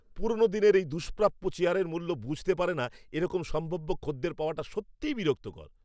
পুরনো দিনের এই দুষ্প্রাপ্য চেয়ারের মূল্য বুঝতে পারে না এরকম সম্ভাব্য খদ্দের পাওয়াটা সত্যি বিরক্তিকর।